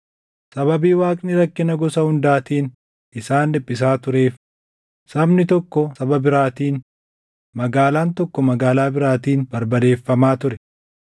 Sababii Waaqni rakkina gosa hundaatiin isaan dhiphisaa tureef sabni tokko saba biraatiin, magaalaan tokko magaalaa biraatiin barbadeeffamaa ture.